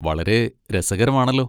വളരെ രസകരമാണല്ലോ.